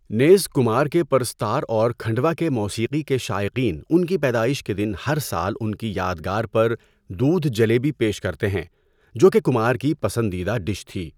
نیز کمار کے پرستار اور کھنڈوا کے موسیقی کے شائقین ان کی پیدائش کے دن ہر سال ان کی یادگار پر 'دودھ جلیبی' پیش کرتے ہیں، جو کہ کمار کی پسندیدہ ڈش تھی۔